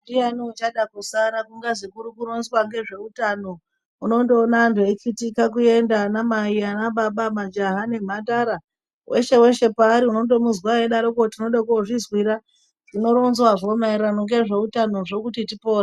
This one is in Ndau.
Ndiani uchada kusara kungazi kurikurongwa ngezveutano unondoona antu eikitika ana mai , ana baba, majaha nemhandara, weshe weshe paari unondomuzwa eidarokwo kuti tinode kozvizwira zvino ronzwazvo maererano ngezveutanozvo kuti tipore.